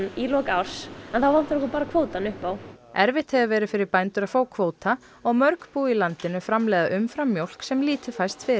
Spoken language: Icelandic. í lok árs og þá vantar okkur bara kvótann upp á erfitt hefur verið fyrir bændur að fá kvóta og mörg bú í landinu framleiða umframmjólk sem lítið fæst fyrir